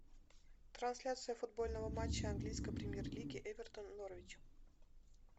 трансляция футбольного матча английской премьер лиги эвертон норвич